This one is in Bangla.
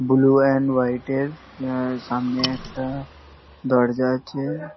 বুলু এন্ড হোয়াইট এর এ সামনে একটা দরজা আছে।